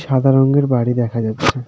সাদা রংয়ের বাড়ি দেখা যাচ্ছে।